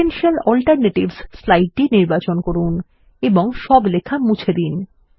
potential alternatives স্লাইডটি নির্বাচন করুন এবং সব লেখা মুছে দিন